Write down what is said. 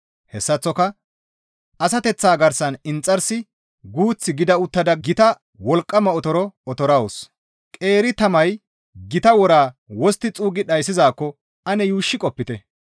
Hessaththoka asateththa garsan inxarsi guuth gida uttada gita wolqqama otoro otorettawus; qeeri tamay gita wora wostti xuuggi dhayssizaakko ane yuushshi qopite.